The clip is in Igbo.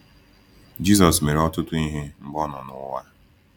Jisọs mere ọtụtụ ihe mgbe ọ nọ n’ụwa.